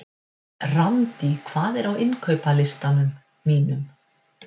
Randý, hvað er á innkaupalistanum mínum?